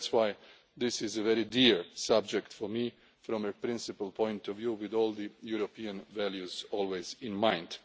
country. That is why this is a very dear subject for me from a principle point of view, with all the European values always